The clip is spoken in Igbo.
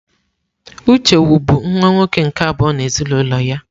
Uche wu bụ nwa nwoke nke abụọ n'ezinụlọ ya.